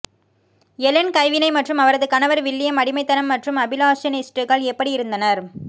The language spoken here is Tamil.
எலென் கைவினை மற்றும் அவரது கணவர் வில்லியம் அடிமைத்தனம் மற்றும் அபிலாஷனிஸ்டுகள் எப்படி இருந்தனர்